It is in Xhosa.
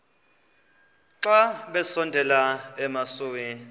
xa besondela emasuie